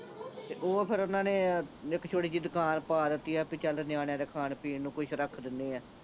ਤੇ ਓਹ ਫੇਰ ਓਹਨਾਂ ਨੇ ਇੱਕ ਛੋਟੀ ਜਿਹੀ ਦੁਕਾਨ ਪਾ ਦਿੱਤੀ ਆ ਬੀ ਚੱਲ ਨਿਆਣਿਆਂ ਦੇ ਖਾਣ ਪੀਣ ਨੂੰ ਕੁਛ ਰੱਖ ਦਿਨੇ ਆਂ